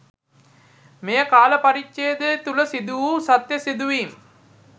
මෙයකාල පරිච්ඡේදය තුල සිදු වූ සත්‍ය සිදුවීම්